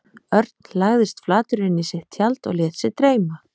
Örn lagðist flatur inn í sitt tjald og lét sig dreyma.